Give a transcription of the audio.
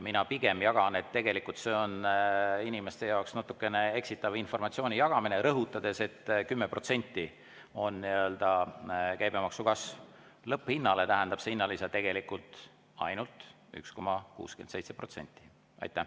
Mina pigem jagan, et tegelikult on see inimestele natukene eksitava informatsiooni jagamine, rõhutades, et käibemaksu kasv on 10%, lõpphinnale tähendab see hinnalisa tegelikult ainult 1,67%.